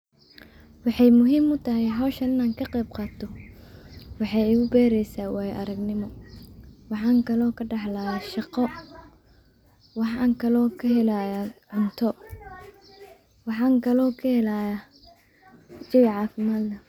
Wexey muhiim howshan wexey igubereysa wayo aragnimo waxan kalo kadaxlaya shaqo waxan kalo kahelaya cunto waxan kalo kahelaya cafimad.